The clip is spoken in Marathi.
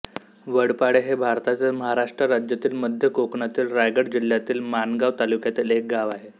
वडपाळे हे भारतातील महाराष्ट्र राज्यातील मध्य कोकणातील रायगड जिल्ह्यातील माणगाव तालुक्यातील एक गाव आहे